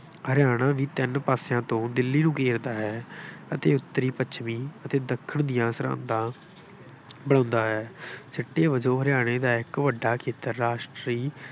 ਹਰਿਆਣਾ ਵੀ ਤਿੰਨ ਪਾਸਿਆਂ ਤੋਂ ਦਿੱਲੀ ਨੂੰ ਘੇਰਦਾ ਹੈ ਅਤੇ ਉੱਤਰੀ ਪੱਛਮੀ ਅਤੇ ਦੱਖਣ ਦੀਆਂ ਸਰਹੱਦਾਂ ਬਣਾਉਂਦਾ ਹੈ। ਸਿੱਟੇ ਵਜੋਂ ਹਰਿਆਣੇ ਦਾ ਇੱਕ ਵੱਡਾ ਖੇਤਰ ਰਾਸ਼ਟਰੀ